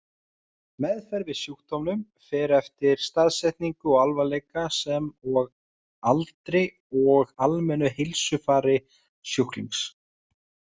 Meðferð við sjúkdómnum fer eftir staðsetningu og alvarleika, sem og aldri og almennu heilsufari sjúklings.